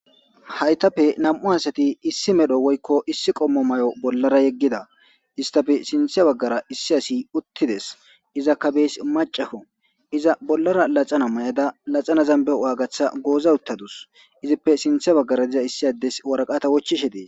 Haytape nam'u asati issi medho woykko issi qommo may'o bollara yeggida istafe sinthe baggara issi asi uttides iza kabeys macafo iza bollara laxana may'ada laxana zambe waagatha gooza uttadus izippe sinthe baggara diza issi addes waraqata wochishe dee.